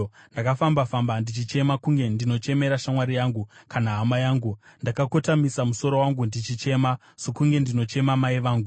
ndakafamba-famba ndichichema kunge ndinochemera shamwari yangu kana hama yangu. Ndakakotamisa musoro wangu ndichichema, sokunge ndinochema mai vangu.